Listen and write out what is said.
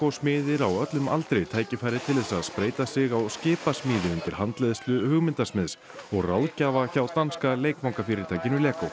smiðir á öllum aldri tækifæri til þess að spreyta sig á skipasmíði undir handleiðslu og ráðgjafa hjá danska leikfangafyrirtækinu